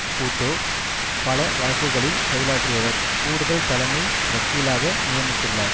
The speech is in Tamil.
பூட்டோ பல வழக்குகளில் செயலாற்றியவர் கூடுதல் தலைமை வக்கீலாக நியமித்துள்ளார்